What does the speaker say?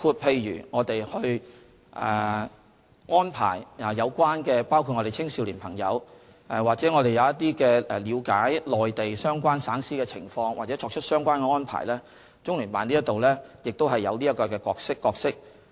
例如我們安排青少年朋友了解內地相關省市的情況或作出一些相關的安排，中聯辦在這方面亦有角色。